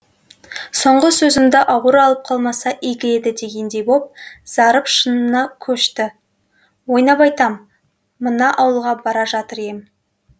соңғы сөзімді ауыр алып қалмаса игі еді дегендей боп зарып шынына көшті ойнап айтам мына ауылға бара жатыр ем